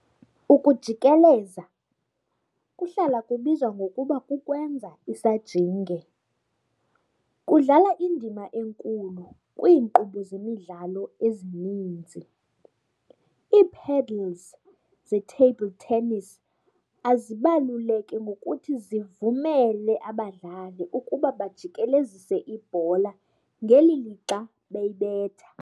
Ukujikeleza, kuhlala kubizwa ngokuba kukwenza isajinge, kudlala indima enkulu kwiinkqubo zemidlalo ezininzi. Iipaddles ze-Table tennis azibaluleke ngokuthi zivumele abadlali ukuba bajikelezise ibhola ngeli lixa beyibetha.